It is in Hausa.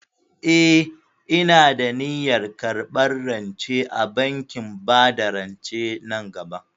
Eh, ina da niyyar karɓar rance a bankin bada rance nan gaba.